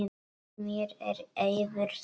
Mér er eiður sær.